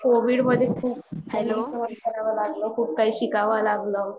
Covid मध्ये खूप खूप शिकाव लागला